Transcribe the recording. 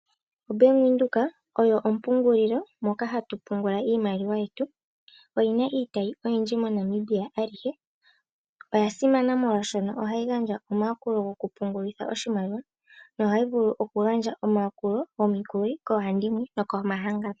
OBank Windhoek oyo ompungulilo moka hatu pungula iimaliwa yetu. Oyi na iitayi oyindji moNamibia alihe. Oya simana molwaashono ohayi gandja omayakulo gokupungulitha oshimaliwa nohayi vulu okugandja omayakulo gomikuli koohandimwe nokomahangano.